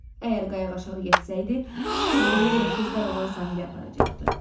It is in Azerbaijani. Əgər qayıq aşağı getsəydi, su onu İrokezlər olan sahilə aparacaqdı.